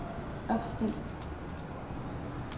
opstil